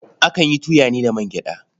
Akan yi tuya ne da man gyaɗa.